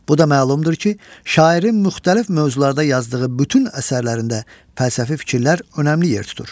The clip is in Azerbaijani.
Bu da məlumdur ki, şairin müxtəlif mövzularda yazdığı bütün əsərlərində fəlsəfi fikirlər önəmli yer tutur.